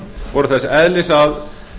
voru þess eðlis að